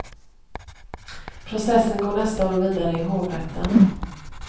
Processen går nästa år vidare i hovrätten.